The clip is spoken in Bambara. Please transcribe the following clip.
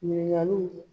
Ɲininkaliw